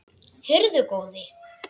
Heyrðu góði!